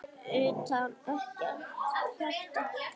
Utanum ekkert hjarta.